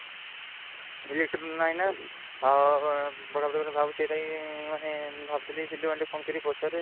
Electric ନାହିଁ ନା